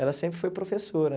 Ela sempre foi professora,